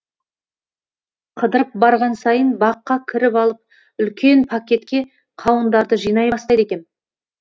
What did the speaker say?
қыдырып барған сайын баққа кіріп алып үлкен пакетке қауындарды жинай бастайды екем